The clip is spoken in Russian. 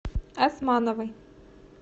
османовой